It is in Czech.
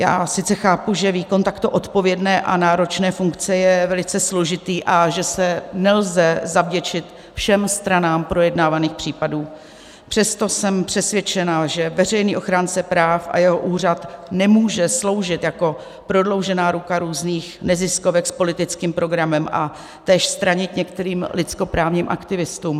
Já sice chápu, že výkon takto odpovědné a náročné funkce je velice složitý a že se nelze zavděčit všem stranám projednávaných případů, přesto jsem přesvědčena, že veřejný ochránce práv a jeho úřad nemůže sloužit jako prodloužená ruka různých neziskovek s politickým programem a též stranit některým lidskoprávním aktivistům.